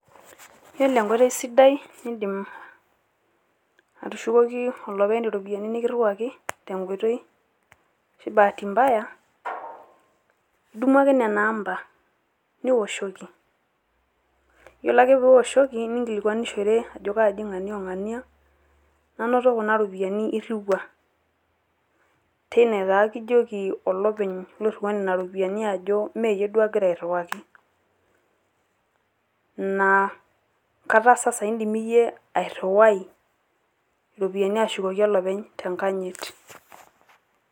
Iyiolo enkoitoi sidai nindim atushukoki olopeny iropiani nikiriwaki tenkoitoi ashu bahati mbaya, idumu ake nena amba niwoshoki, iyiolo ake piiwoshoki ninkilikuanishore ajo kaaji ng'ania o ng'ania nanoto kuna ropiani iriwua, teine taa kijoki olopeny loiriwua nena ropiani ajo meeyie duo agira airiwaki naa kajo saai indim iyie airiwai iropiani ashukoki olopeny tenkanyit.